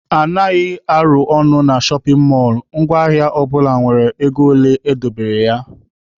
Anaghị arụ ọnụ na shọpin mọlụ, ngwa ahịa ọbụla nwere ego ole e dobere ya(price tag).